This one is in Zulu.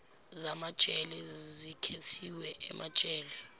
zamajele zikhethiwe emajele